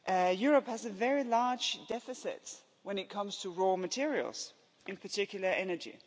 Europe has a very large deficit when it comes to raw materials, in particular energy.